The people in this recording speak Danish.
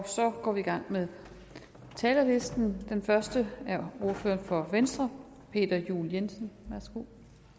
så går vi i gang med talerlisten den første er ordføreren for venstre peter juel jensen værsgo